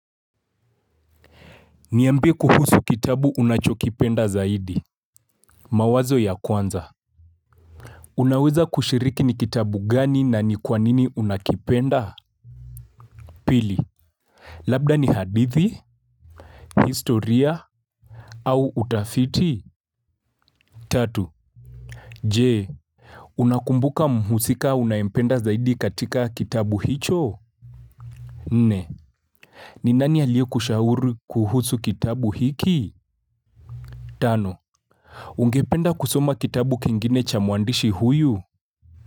Niambie kuhusu kitabu unachokipenda zaidi. Mawazo ya kwanza, Unaweza kushiriki ni kitabu gani na ni kwanini unakipenda? Pili Labda ni hadithi? Historia? Au utafiti? Tatu, Je, unakumbuka muhusika unaempenda zaidi katika kitabu hicho? Nne, ninani aliye kushauri kuhusu kitabu hiki? Tano, ungependa kusoma kitabu kingine cha muandishi huyu?